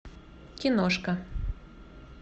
киношка